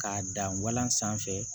K'a dan walan sanfɛ